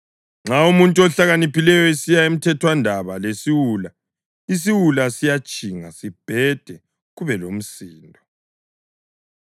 Nxa umuntu ohlakaniphileyo esiya emthethwandaba lesiwula, isiwula siyatshinga sibhede kube lomsindo.